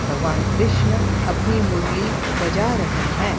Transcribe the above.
भगवान कृष्ण अपनी मुरली बजा रहें हैं।